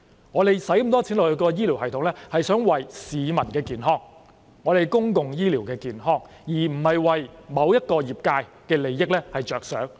我們花那麼多錢在醫療系統上，是為了保障市民健康和完善公共醫療，而不是為了某個業界的利益着想。